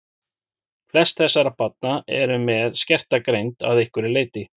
Flest þessara barna eru með skerta greind að einhverju leyti.